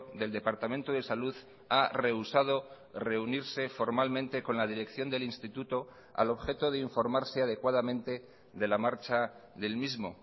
del departamento de salud ha rehusado reunirse formalmente con la dirección del instituto al objeto de informarse adecuadamente de la marcha del mismo